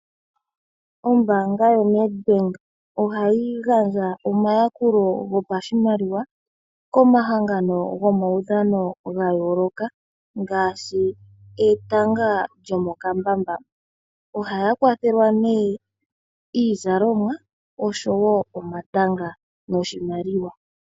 Ombaanga yoNedbank ohayi gandja omayakulo gopashimaliwa komahangano gomaudhano ga yooloka ngaashi etanga lyomokambamba. Ohaya kwathelwa nee iizalomwa, osho wo omatanga noshimaliwa.